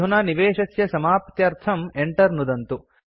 अधुना निवेशस्य समाप्त्यर्थं enter नुदन्तु